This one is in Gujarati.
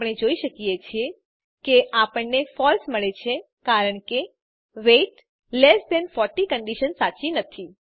આપણે જોઈએ છીએ કે આપણને ફળસે મળે છે કારણ કે વેઇટ લેસ ધેન 40 કન્ડીશન સાચી નથી